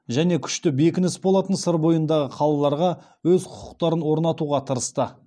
және күшті бекініс болатын сыр бойындағы қалаларға өз құқықтарын орнатуға тырысты